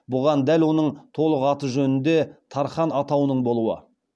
бұған дәл оның толық аты жөнінде тархан атауының болуы